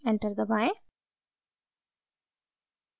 enter दबाएं